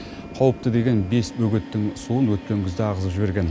қауіпті деген бес бөгеттің суын өткен күзде ағызып жіберген